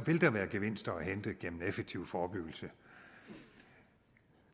vil der være gevinster at hente gennem en effektiv forebyggelse